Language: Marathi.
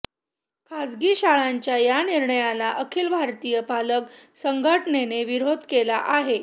खाजगी शाळांच्या या निर्णयाला अखिल भारतीय पालक संघटनेने विरोध केला आहे